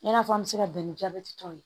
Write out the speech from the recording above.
I n'a fɔ an bɛ se ka bɛn ni jabɛti tɔw ye